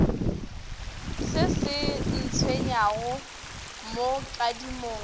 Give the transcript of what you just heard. se se ntshwenyago mo kadimong